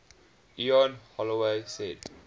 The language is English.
ian holloway said